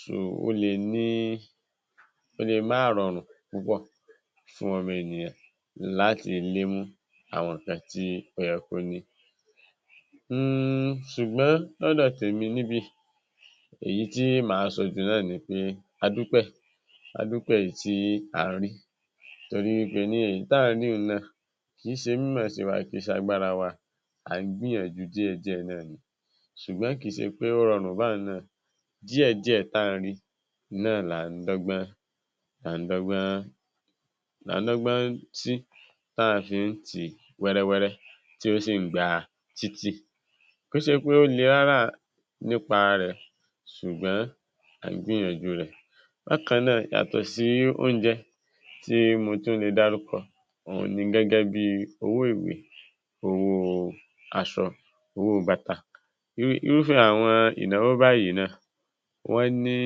So, ó lè ní… ó lè má rọrùn púpọ̀ fún Ọmọ Ènìyàn láti lè mú àwọn nǹkan tí ọ́yẹ kọ̀ ní. Hun. Ṣùgbọ́n ọdò tèmi níbí, èyí tí màá sọ jù náà ni pé a dúpẹ̀, a dúpẹ̀ ìtí a ń rí torí pé ní èyí tá a ri ún náà kì í ṣe mimoosewà kẹ̀ṣii se agbára wa. Àn gbi yan jú díẹ̀ diẹ́ náà ni. Ṣùgbọ́n kì í ṣe pé ó rọrùn bá a náà, díẹ̀ diẹ́ tàn rí náà la ń dọ́gbon, la ń dọ́gbon, ní ti ta fi ń ti wẹ̀rẹ̀wẹ̀rẹ̀ tó sì ń gbà á títí. Kí ó ṣe pé ó lè rárá nípa rẹ̀. Ṣùgbọ́n àgbẹiyan jú rẹ. Bá kan náa, yàtọ̀ sí oúnjẹ tí mo tún lè dá rúkọ, òun ni gẹ́gẹ́ bí owó iwé, owó aṣọ, owó báta. Ìrúfé àwọn ináwó báyìí náà wọ́n ní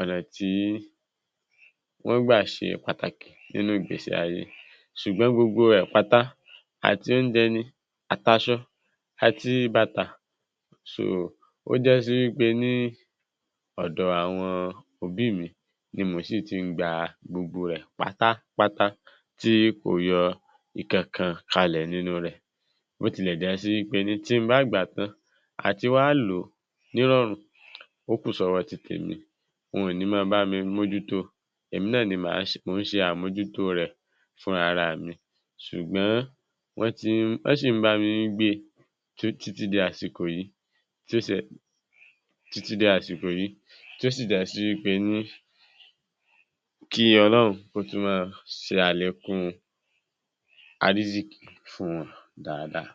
ọ̀nà tí wọ́n gba ṣe pàtàkì nínú ìgbésí ayé. Ṣùgbọ́n gbogbo ẹ pàtà àti oúnjẹ ni, àti aṣọ àti bàtà ó ja sí pé ní ọ̀dọ̀ àwọn òbí mi ni mo sì ti ń gbà á, gbogbo rẹ̀ pàtà-pàtà tí kò yọ ìkẹ̀ẹ̀kan kalẹ̀ nínú rẹ̀. Bó tilẹ̀ jẹ́ sí pé ní tí n bá gbà tán àti wá lò ní rọrùn, ó kù sọwọ́ títẹ̀ mi. Woń ní máa bá mi mojútó. Èmi náà ni má se, mo ń ṣe àmọ̀jútó rẹ̀ fún ara mi. Ṣùgbọ́n wọ́n ti, wọ́n sì ń bá mi ń gbé títí di àsìkò yìí tó sì dá sí pé kí Ọlọ́run ó tún máa ṣe alákún arísíkì fún wọn dáadáa.